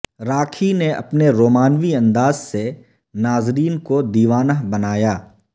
راکھی نے اپنے رومانوی انداز سے ناظرین کو دیوانہ بنایا